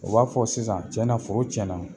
O b'a fɔ sisan tiɲɛna foro tiɲɛna na